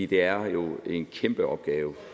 det er jo en kæmpe opgave